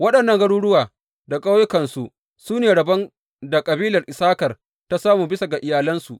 Waɗannan garuruwa da ƙauyukansu su ne rabon da kabilar Issakar ta samu, bisa ga iyalansu.